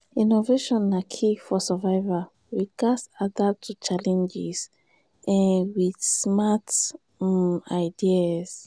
innovation na key for survival; we gats adapt to challenges um with smart um ideas.